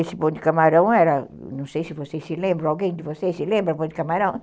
Esse bonde camarão era, não sei se vocês se lembram, alguém de vocês se lembra do bonde camarão?